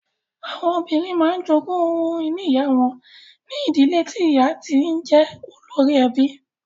Àwọn ọmọbìnrin máa ń jogún ohun ìní ìyá wọn ní ìdílé tí ìyá ti jẹ́ olórí ẹbí.